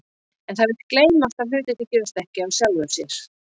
En það vill gleymast að hlutirnir gerast ekki af sjálfu sér.